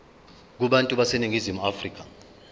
kubantu baseningizimu afrika